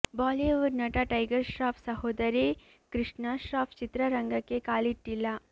Bollywood ನಟ ಟೈಗರ್ ಶ್ರಾಫ್ ಸಹೋದರಿ ಕೃಷ್ಣ ಶ್ರಾಫ್ ಚಿತ್ರರಂಗಕ್ಕೆ ಕಾಲಿಟ್ಟಿಲ್ಲ